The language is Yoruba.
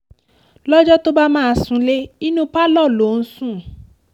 lọ́jọ́ tó bá máa súnlẹ̀ inú pálọ̀ ló ń sùn